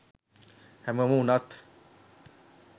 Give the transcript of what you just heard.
හැමෝම වුණත්